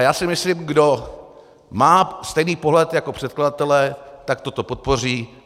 A já si myslím, kdo má stejný pohled jako předkladatelé, tak toto podpoří.